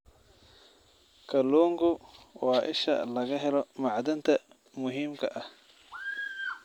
Kalluunku waa isha laga helo macdanta muhiimka ah.